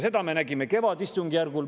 Seda me nägime kevadistungjärgul.